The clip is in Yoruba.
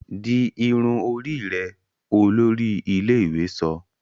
Dì irun orí rẹ! olórí ilé-ìwé sọ